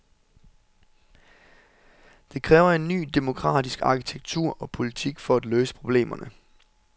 Det kræver en ny demokratisk arkitektur og politik for at løse problemerne.